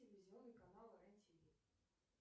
телевизионный канал рен тв